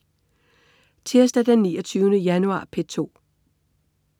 Tirsdag den 29. januar - P2: